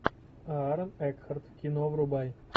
аарон экхарт кино врубай